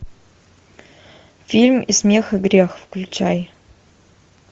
фильм и смех и грех включай